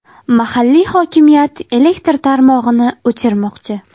Mahalliy hokimiyat elektr tarmog‘ini o‘chirmoqchi.